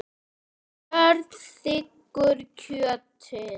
Björn þiggur kjötið.